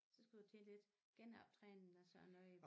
Så skal du til lidt genoptræning og sådan noget